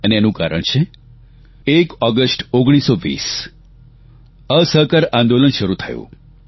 અને એનું કારણ છે 1 ઓગષ્ટ 1920 અસહકાર આંદોલન શરૂ થયું